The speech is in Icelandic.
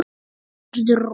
Verður rok.